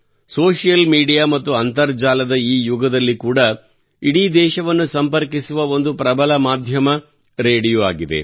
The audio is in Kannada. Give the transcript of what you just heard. ಸೋಷಿಯಲ್ ಮೀಡಿಯಾ ಮತ್ತು ಅಂತರ್ಜಾಲದ ಈ ಯುಗದಲ್ಲಿ ಕೂಡಾ ಇಡೀ ದೇಶವನ್ನು ಸಂಪರ್ಕಿಸುವ ಒಂದು ಪ್ರಬಲ ಮಾಧ್ಯಮ ರೇಡಿಯೋ ಆಗಿದೆ